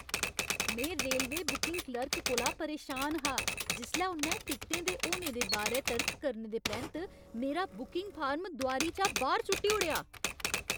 में railway booking clerk कोला परेशान हा जिसलै उ'न्नै टिकटें दे होने दे बारै तर्क करने दे परैंत्त मेरा बुकिंग फार्म दोआरी चा बाह्‌र सु'ट्टी ओड़ेआ।